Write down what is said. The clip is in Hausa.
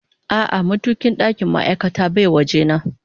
A'a, matukin ɗakin ma'aikata baya waje na